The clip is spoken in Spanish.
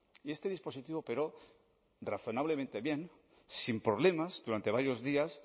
y este dispositivo operó razonablemente bien sin problemas durante varios días